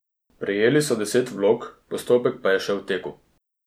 Prejeli so deset vlog, postopek pa je še v teku.